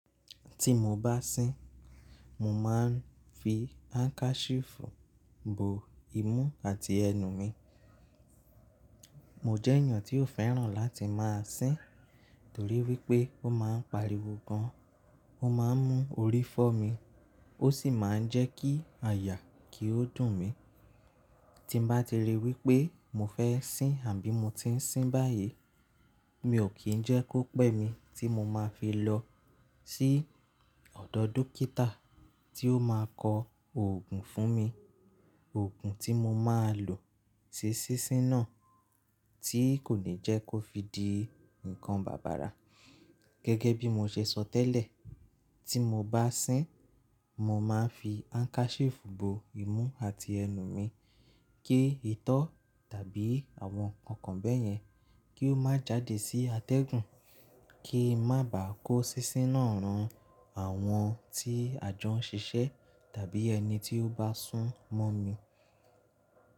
Tí mo bá sín, mo máa ń fi handkerchief bo imú àti ẹnu mi. Mo jẹ́ ènìyàn tí ó fẹ́ràn láti máa sín torí wípé ó máa ń pariwo gan, ó máa ń mú orí fọ́ mi, ó sì máa ń jẹ́ kí àyà kí ó dùn mi. Tí ń bá ti rí wípé mo fẹ́ sín àbí mo ti ń sín báyìí, mi ò kí ń jẹ́ kó pẹ́ mi tí mo máa fi lọ sí ọ̀dọ̀ dókítà tí ó máa kọ òògùn fún mi. Òògùn tí mo máa lò sí sín sín náà tí kò ní jẹ́ kó fi di nǹkan bàbàrà. Gẹ́gẹ́ bí mo ṣe sọ tẹ́lẹ̀, tí mo bá sín, mo máa ń fi handkerchief bo imú àti ẹnu mi kí ìtọ́ tàbí àwọn nǹkan bẹ́ẹ̀ yẹn kí ó má jáde sí atẹ́gùn kí má bàá kó sísí náà ran àwọn tí àjọ ń ṣiṣẹ́ tàbí ẹni tí ó bá sún mọ́ mi.